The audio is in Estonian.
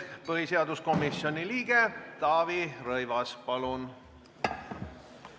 Põhiseaduskomisjoni liige Taavi Rõivas, palun!